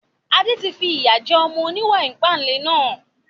Adé tí fi ìyà jẹ ọmọ oníwà ìpánle náà